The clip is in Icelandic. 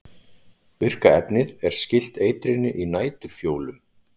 Virka efnið er skylt eitrinu í næturfjólum.